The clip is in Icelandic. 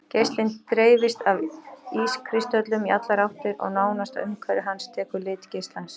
Geislinn dreifist af ískristöllunum í allar áttir og nánasta umhverfi hans tekur lit geislans.